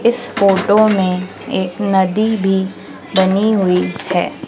इस फोटो में एक नदी भी बनी हुई है।